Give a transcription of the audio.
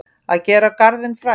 Að gera garðinn frægan